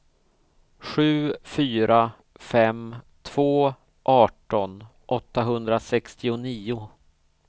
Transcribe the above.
sju fyra fem två arton åttahundrasextionio